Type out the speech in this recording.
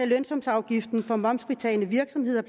lønsumsafgiften for momsfritagne virksomheder